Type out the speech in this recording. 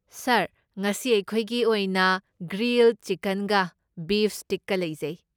ꯁꯥꯔ, ꯉꯁꯤ ꯑꯩꯈꯣꯏꯒꯤ ꯑꯣꯏꯅ ꯒ꯭ꯔꯤꯜꯗ ꯆꯤꯀꯟꯒ ꯕꯤꯐ ꯁ꯭ꯇꯤꯛꯀ ꯂꯩꯖꯩ꯫